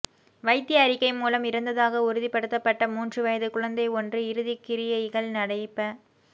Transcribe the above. வைத்திய அறிக்கை மூலம் இறந்ததாக உறுதிப்படுத்தப்பட்ட மூன்று வயது குழந்தை ஒன்று இறுதிக் கிரியைகள் நடைப